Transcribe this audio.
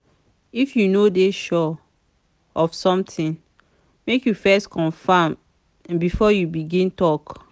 if you no dey sure of somtin make you first confirm before you begin tok.